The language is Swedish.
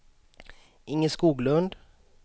Inge Skoglund